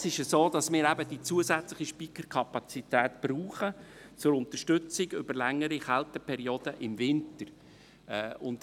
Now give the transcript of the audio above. Es ist aber so, dass wir die zusätzliche Speicherkapazität zur Unterstützung von längeren Kälteperioden im Winter brauchen.